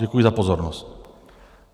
Děkuji za pozornost.